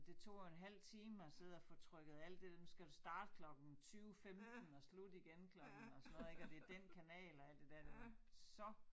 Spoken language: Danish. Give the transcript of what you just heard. Det tog jo en halv time at sidde og få trykket alt det nu skal det starte klokken 20 15 og slutte igen klokken og sådan noget ik og det den kanal og alt det dér det var så